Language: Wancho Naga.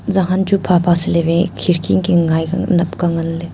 zanghan chu phapha seley we khirkI inkhe ngaI ka napka nganley.